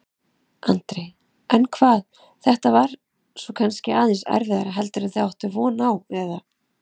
Andri: En hvað, þetta var kannski aðeins erfiðara heldur en þið áttuð von á, eða?